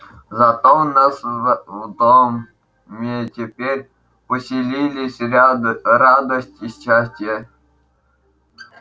зато у нас в доме теперь поселились радость и счастье продолжаю я